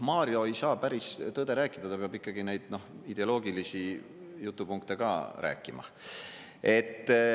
Mario ei saa päris tõde rääkida, ta peab ikkagi neid ideoloogilisi jutupunkte ka rääkima.